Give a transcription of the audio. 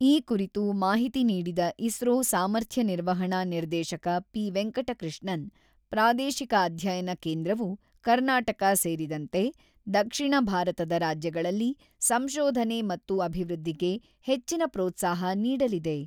ಈ ಕುರಿತು ಮಾಹಿತಿ ನೀಡಿದ ಇಸ್ರೋ ಸಾಮರ್ಥ್ಯ ನಿರ್ವಹಣಾ ನಿರ್ದೇಶಕ ಪಿ.ವೆಂಕಟಕೃಷ್ಣನ್, ಪ್ರಾದೇಶಿಕ ಅಧ್ಯಯನ ಕೇಂದ್ರವು ಕರ್ನಾಟಕ ಸೇರಿದಂತೆ, ದಕ್ಷಿಣ ಭಾರತದ ರಾಜ್ಯಗಳಲ್ಲಿ ಸಂಶೋಧನೆ ಮತ್ತು ಅಭಿವೃದ್ಧಿಗೆ ಹೆಚ್ಚಿನ ಪ್ರೋತ್ಸಾಹ ನೀಡಲಿದೆ.